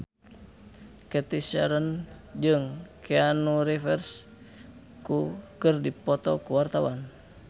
Cathy Sharon jeung Keanu Reeves keur dipoto ku wartawan